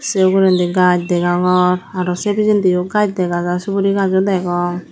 sey uguredi gaj degongor aro say pijendio gaj degajar suborigajo degong.